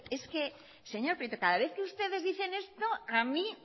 es que señor prieto cada vez que ustedes dicen esto a mí